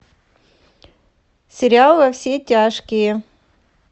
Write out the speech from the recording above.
сериал во все тяжкие